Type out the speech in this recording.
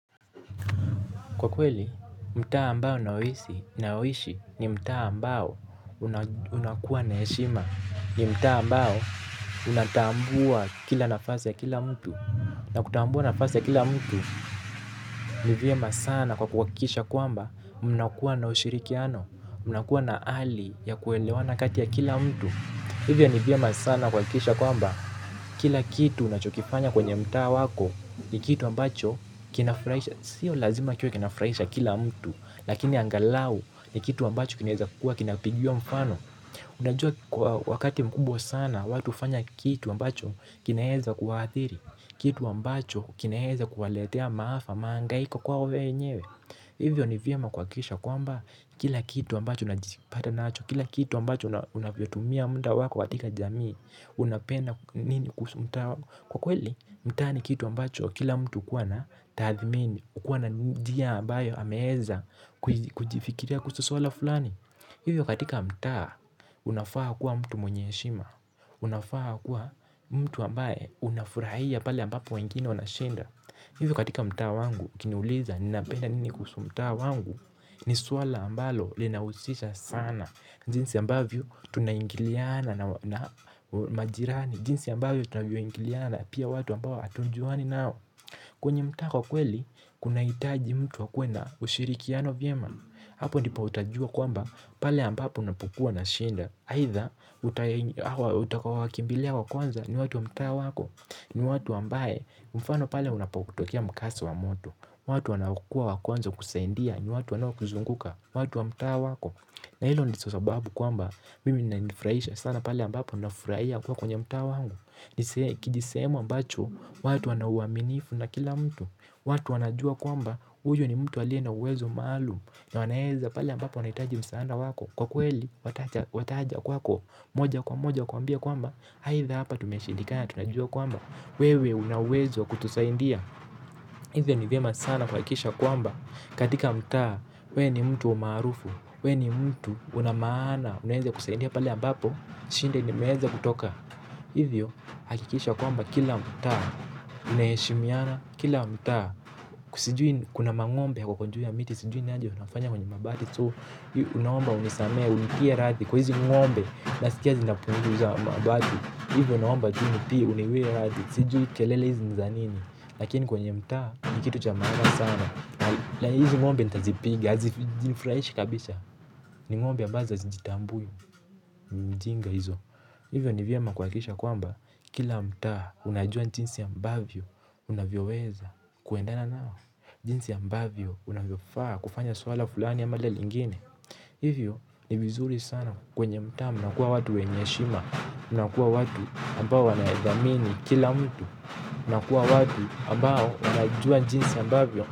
Kwa kweli, mtaa ambao ninayoishi ni mtaa ambao unakuwa na heshima. Ni mtaa ambao unatambua kila nafasi ya kila mtu. Na kutambua nafasi ya kila mtu ni vyema sana kwa kuhakikisha kwamba mnakuwa na ushirikiano, mnakuwa na hali ya kuelewana kati ya kila mtu. Hivyo ni vyema sana kuhakikisha kwamba kila kitu unachokifanya kwenye mtaa wako ni kitu ambacho kinafurahisha sio lazima kiwe kinafurahisha kila mtu lakini angalau ni kitu ambacho kinawezakuwa kina pigiwa mfano unajua kwa wakati mkubwa sana watu hufanya kitu ambacho kinaweza kuwaathiri kitu ambacho kinaweza kuwaletea maafa, mahangaiko kwao wenyewe hivyo ni vyema kuhakikisha kwamba kila kitu ambacho unajipata nacho, kila kitu ambacho unavyotumia muda wako katika jamii unapenda nini kuhusu mtaa kwa kweli, mtaa ni kitu ambacho kila mtu hukuwa na tathimini hukuwa na njia ambayo ameweza kujifikiria kuhusu swala fulani. Hivyo katika mtaa unafaa kuwa mtu mwenye heshima. Unafaa kuwa mtu ambaye unafurahia pale ambapo wengine wanashinda. Hivyo katika mtaa wangu ukiniuliza ninapenda nini kuhusu mtaa wangu. Ni swala ambalo linahusisha sana. Jinsi ambavyo tunaingiliana na majirani jinsi ambavyo tunavyoingiliana na pia watu ambao hatujuani nao kwenye mtaa kwa kweli, kunahitaji mtu akuwe na ushirikiano vyema. Hapo ndipo utajua kwamba pale ambapo unapokuwa na shida. Aidha utakaowakimbilia wa kwanza ni watu wa mtaa wako ni watu ambao mfano pale unapotokea mkasa wa moto. Watu wanaokuwa wa kwanza kukusaidia ni watu wanaokuzunguka watu wa mtaa wako. Na hizo ndizo sababu kwamba mimi inanifurahisha sana pale ambapo nafurahia kuwa kwenye mtaa wangu. Kijisehemu ambacho, watu wana uaminifu na kila mtu. Watu wanajua kwamba, huyo ni mtu aliye na uwezo maalumu. Na anaweza pale ambapo wanahitaji msaada wako. Kwa kweli, wataja kwako, moja kwa moja kuambia kwamba aidha hapa tumeshindikana, tunajua kwamba wewe una uwezo kutusaidia. Hivyo ni vyema sana kuhakikisha kwamba katika mtaa, wewe ni mtu maarufu we ni mtu una maana, unaweze kusaidia pale ambapo shinda limeweza kutoka. Hivyo hakikisha kwamba kila mtaa unaheshimiana kila mtaa. Kuna mang'ombe wako juu ya miti. Sijui wanachofanya kwenye mabati So naomba unisamehe. Unitie radhi kwa hizi ng'ombe. Nasikia zinapunguza mabati. Hivyo naomba jini pia uniwie radhi. Sijui kelele hizi ni za nini. Lakini kwenye mtaa ni kitu cha maana sana. Hizi ng'ombe nitazipiga. Hazinifurahishi kabisa. Ni ng'ombe ambazo hazijitambui. Mjinga hizo. Hivyo ni vyema kuhakikisha kwamba kila mtaa unajua jinsi ambavyo unavyoweza kuendana nao jinsi ambavyo unavyofaa kufanya swala fulani ama lile lingine. Hivyo ni vizuri sana kwenye mtaa mnakuwa watu wenye heshima. Mnakuwa watu ambao wanadhamini kila mtu. Mnakuwa watu ambao wanajua jinsi ambavyo.